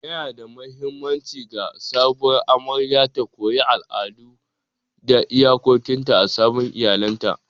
Yanada mahimmanci ga sabuwar amaryar ta koyi al'adu da iyakokinta a sabon iyalinta.